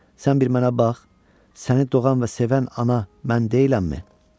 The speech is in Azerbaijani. Sən bir mənə bax, səni doğan və sevən ana mən deyiləmmi?"